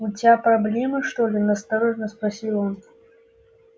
у тебя проблемы что ли настороженно спросил он